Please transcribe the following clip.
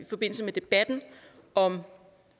forbindelse med debatten om